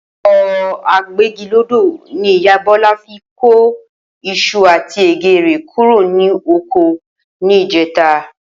O̩kò̩ agbégilódò ní ìyá Bó̩lá fi ko is̩u àti è̩gé̩ rè̩ kúrò ní oko ní ìjé̩ta